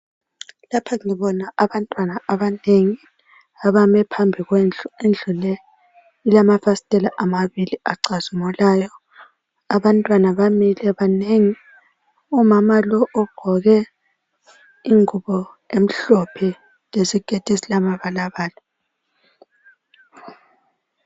Lapha libona abantwana abanengi abame phambi kwendlu, indlu le ilamafasitela amabili acazimulayo. Abantwana bamile banengi. Umama lo ogqoke ingubo emhlophe lesiketi esilamabalabala.